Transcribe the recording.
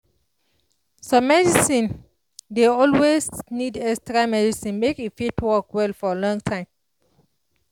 ah some vaccine dey always need extra medicine make e fit work well for long time